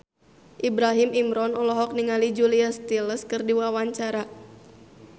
Ibrahim Imran olohok ningali Julia Stiles keur diwawancara